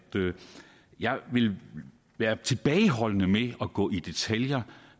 jeg ville være tilbageholdende med at gå i detaljer